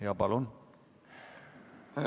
Jaa, palun!